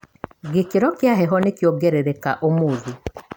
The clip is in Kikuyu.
Gĩkĩro kia heho nĩkiongerereka ũmũthĩ.